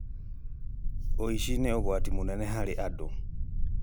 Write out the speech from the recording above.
Ũici nĩ ũgwati mũnene harĩ andũ.